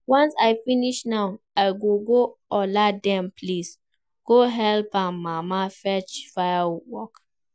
Once I finish now I go go Ola dem place go help im mama fetch firewood